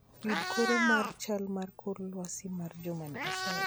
Yud koro mar chal mar kor lwasi mar jumani asayi